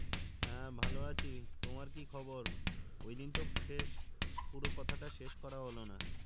হ্যা ভালো আছি তোমার কি খবর? ওই দিন তো শেষ পুরো কথা টা শেষ করা হলো না